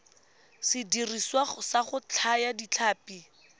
sediriswa sa go thaya ditlhapi